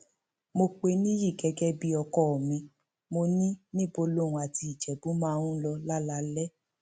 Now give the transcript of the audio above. mo pẹ nìyí gẹgẹ bíi ọkọ mi mo ní níbo lòun àti ìjẹbù máa ń lọ lálaalẹ